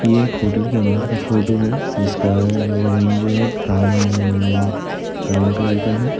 ये होटल के अंदर का फोटो है जिसका ज़मीन जो है ब्रोवन्न्न्न ब्राउन कलर का है।